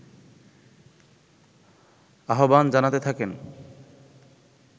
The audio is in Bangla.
আহ্বান জানাতে থাকেন